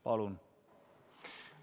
Palun!